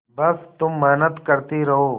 बस तुम मेहनत करती रहो